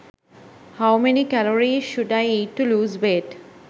how many calories should i eat to lose weight